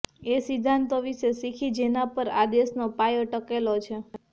એ સિદ્ધાંતો વિશે શીખી જેના પર આ દેશનો પાયો ટકેલો છે